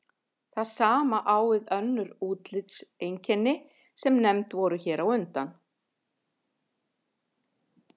Það sama á við um önnur útlitseinkenni sem nefnd voru hér á undan.